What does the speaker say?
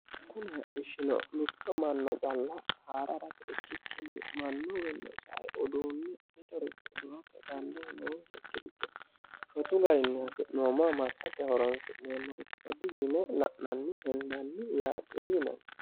kune hadhishshino mitto manna calla haare harate ikkikkinni mannuwiinnino sae uduunni mitore duhate dandoo noonsakkiricho shotu garinni hasi'nooma massate horonsi'neemmorichooti yine la'nanni hendanni yaatee yinanni